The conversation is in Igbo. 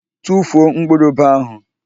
Tufuo mkpụrụ ube ahụ!